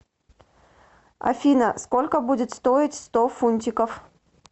афина сколько будет стоить сто фунтиков